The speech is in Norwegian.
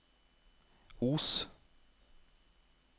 Os